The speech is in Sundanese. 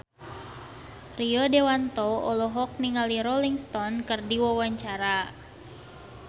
Rio Dewanto olohok ningali Rolling Stone keur diwawancara